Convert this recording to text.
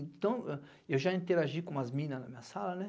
Então, eu já interagi com umas minas na minha sala, né?